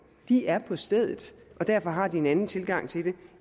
de er på stedet og derfor har de en anden tilgang til det